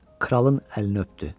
Kralın əlini öpdü.